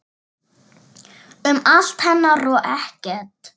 Um allt hennar og ekkert.